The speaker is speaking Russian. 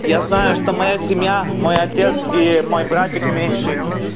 я знаю что моя семья мой отец и мой братик меньший